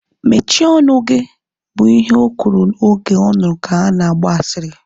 Mechie ọnụ gị! Bụ ihe o kwuru oge ọ nụrụ ka ha na-agba asịrị